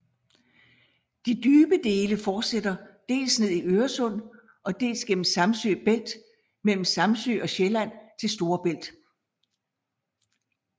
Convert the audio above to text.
De dybe dele fortsætter dels ned i Øresund og dels gennem Samsø Bælt mellem Samsø og Sjælland til Storebælt